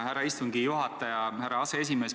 Härra istungi juhataja, härra aseesimees!